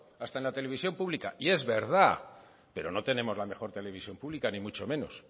hasta en la televisión pública y es verdad pero no tenemos la mejor televisión pública ni mucho menos